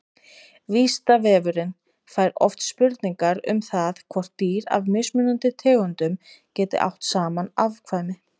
Vísindavefurinn fær oft spurningar um það hvort dýr af mismunandi tegundum geti átt saman afkvæmi.